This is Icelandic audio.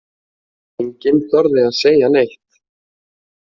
Enginn þorði að segja neitt.